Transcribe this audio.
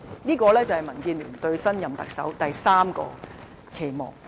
這是民建聯對新任特首的第三個期望。